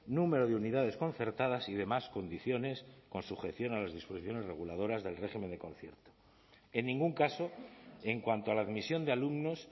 número de unidades concertadas y demás condiciones con sujeción a las disposiciones reguladoras del régimen de concierto en ningún caso en cuanto a la admisión de alumnos